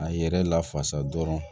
A yɛrɛ lafasa dɔrɔn